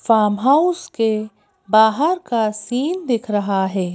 Farm house बाहर का scene दिख रहा है।